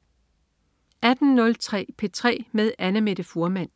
18.03 P3 med Annamette Fuhrmann